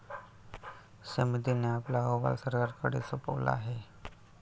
समितीने आपला अहवाल सरकारकडे सोपवला आहे.